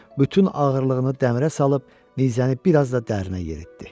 Bütün ağırlığını dəmirə salıb nizəni biraz da dərinə yeritdi.